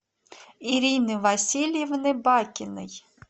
ирины васильевны бакиной